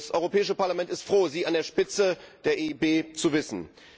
Das Europäische Parlament ist froh, Sie an der Spitze der EIB zu wissen.